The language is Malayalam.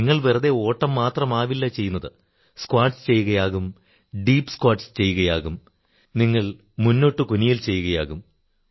നിങ്ങൾ വെറുതെ ഓട്ടം മാത്രമാവില്ല ചെയ്യുന്നത് സ്ക്വാട്സ് ചെയ്യുകയാകും ഡീപ് സ്ക്വാട്സ് ചെയ്യുകയാകും നിങ്ങൾ ലങ്കസ് ചെയ്യുകയുകയാകും മുന്നോട്ടു കുനിയൽ ചെയ്യുകയാകും